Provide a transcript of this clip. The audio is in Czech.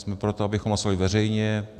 Jsme pro, abychom hlasovali veřejně.